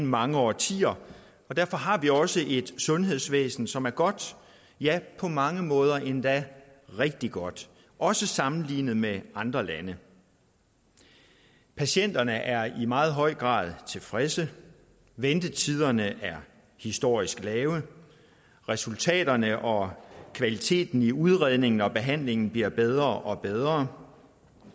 mange årtier og derfor har vi også et sundhedsvæsen som er godt ja på mange måder endda rigtig godt også sammenlignet med andre landes patienterne er i meget høj grad tilfredse ventetiderne er historisk lave og resultaterne og kvaliteten i udredningen og behandlingen bliver bedre og bedre